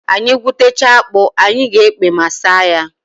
Anyị gwutechaa akpụ, anyị ga-ekpe ma saa ya.